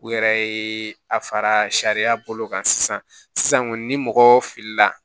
U yɛrɛ ye a fara sariya bolo kan sisan sisan kɔni ni mɔgɔ filila